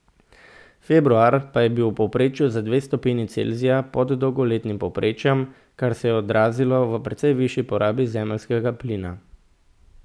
Februar pa je bil v povprečju za dve stopinji Celzija pod dolgoletnim povprečjem, kar se je odrazilo v precej višji porabi zemeljskega plina.